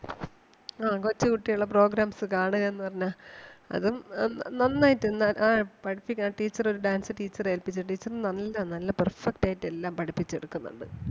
ആ കൊച്ചുകുട്ടികൾടെ programs കാണുക എന്ന് പറഞ്ഞാ അതും ന~നന്നായിട്ട് എന്താ ആഹ് പഠിപ്പിക്കുന്ന ആ teacher ഒരു dance teacher എ ഏൽപ്പിച്ചിട്ടുണ്ട്. teacher നല്ല നല്ല perfect ആയിട്ട് എല്ലാം പഠിപ്പിച്ച് എടുക്കുന്നുണ്ട്.